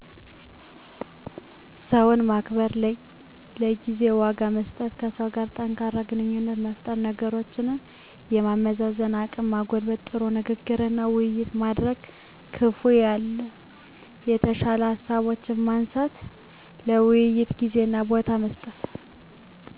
ሰው ማክበር፣ ለጊዜ ዋጋ መስጠት፣ ከሰው ጋር ጠንካራ ግንኙነት መፍጠር፣ ነገሮችን የማመዛዘን አቅም መጎልበት፣ ጥሩ ንግግርና ውይይት ማድረግ፣ ክፋ ያሉና የተሻሉ ሃሳቦችን ማንሳት፣ ለውይይት ጊዜና ቦታ መስጠት።